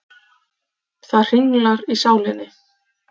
Það hringlar í sálinni.